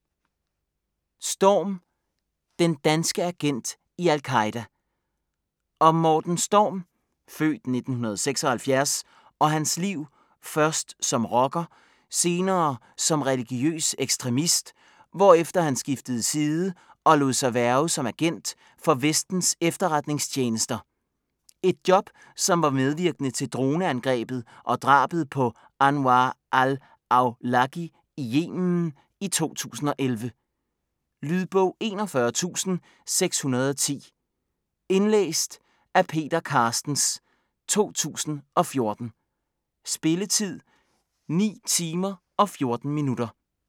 Storm: den danske agent i al-Qaeda Om Morten Storm (f. 1976) og hans liv, først som rocker, senere som religiøs ekstremist, hvorefter han skiftede side og lod sig hverve som agent for Vestens efterretningstjenester. Et job, som var medvirkende til droneangrebet og drabet på Anwar al-Awlaki i Yemen i 2011. Lydbog 41610 Indlæst af Peter Carstens, 2014. Spilletid: 9 timer, 14 minutter.